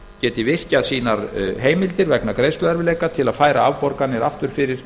geti virkjað sínar heimildir vegna greiðsluerfiðleika til að færa afborganir aftur fyrir